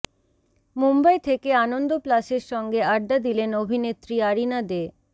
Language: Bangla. মুম্বই থেকে আনন্দ প্লাসের সঙ্গে আড্ডা দিলেন অভিনেত্রী আরিনা দে